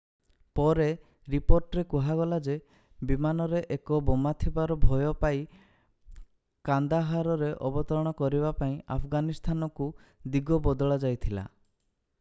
ପରେ ରିପୋର୍ଟରେ କୁହାଗଲା ଯେ ବିମାନରେ ଏକ ବୋମା ଥିବାର ଭୟ ପାଇ କାନ୍ଦାହାରରେ ଅବତରଣ କରିବା ପାଇଁ ଆଫଗାନିସ୍ତାନକୁ ଦିଗ ବଦଳାଯାଇଥିଲା